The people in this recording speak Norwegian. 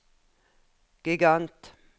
gigant